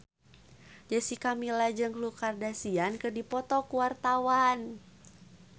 Jessica Milla jeung Khloe Kardashian keur dipoto ku wartawan